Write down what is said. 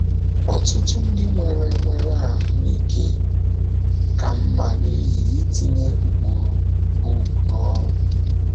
Ọtụtụ ndị nwere nwere ahụ́ ike ka mma n’ihi itinye ụkpụrụ book n’ọrụ.